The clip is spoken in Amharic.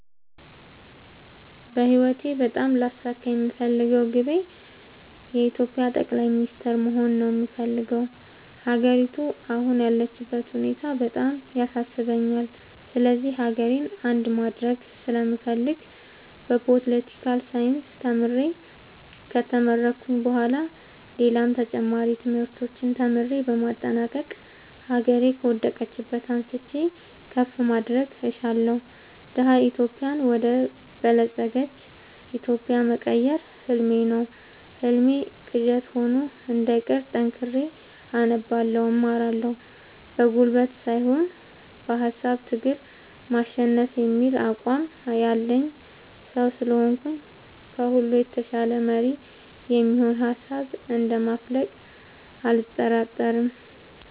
በህይወቴ በጣም ላሳካ የምፈልገው ግቤ የኢትዮጵያ ጠቅላይ ሚኒስተር መሆን ነው የምፈልገው። ሀገሪቱ አሁን ያለችበት ሁኔታ በጣም ያሳስበኛል ስለዚህ ሀገሬን አንድ ማድረግ ስለምፈልግ በፓለቲካል ሳይንስ ተምሬ ከተመረኩኝ በኋላ ሌላም ተጨማሪ ትምህርቶችን ተምሬ በማጠናቀቅ ሀገሬ ከወደቀችበት አንስቼ ከፍ ማድረግ እሻለሁ። ደሀ ኢትዮጵያን ወደ በለፀገች ኢትዮጵያ መቀየር ህልሜ ነው ህልሜ ቅዠት ሆኖ እንዳይቀር ጠንክሬ አነባለሁ እማራለሁ። በጉልበት ሳይሆን በሃሳብ ትግል ማሸነፍ የሚል አቋም ያለኝ ሰው ስለሆንኩኝ ከሁሉ የተሻለ መሪ የሚሆን ሀሳብ እንደ ማፈልቅ አልጠራጠርም።